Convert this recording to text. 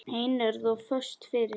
Einörð og föst fyrir.